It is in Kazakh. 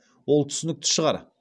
ол түсінікті шығар